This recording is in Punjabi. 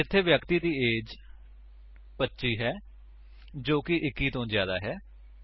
ਇੱਥੇ ਵਿਅਕਤੀ ਦੀ ਏਜ 25 ਹੈ ਜੋ 21 ਤੋਂ ਜਿਆਦਾ ਹੈ